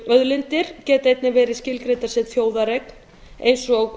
auðlindir geti einnig verið óskilgreindar sem þjóðareign eins og